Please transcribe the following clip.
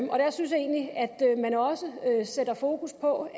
der synes jeg egentlig at man også sætter fokus på